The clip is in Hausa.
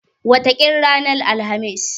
Wataƙila ranar Alhamis.